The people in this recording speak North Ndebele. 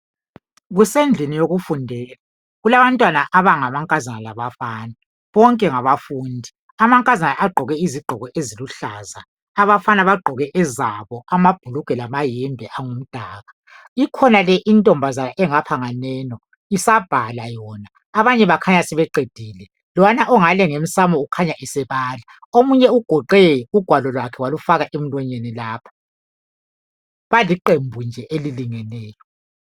Kusendlini yokufundela kulabantwana abangamankazana labafana. Bonke ngabafundi, amankazana agqoke izigqoko eziluhlaza, abafana bagqoke ezabo amabhulugwe lamayembe angumdaka. Ikhona le intombazana engapha nganeno, isabhala yona abanye bakhanya sebeqedile. Lowana ongale ngemsamo ukhanya esebala, omunye ugoqe ugwalo lwakhe walufaka emlonyeni lapha. Baliqembu nje elilingeneyo.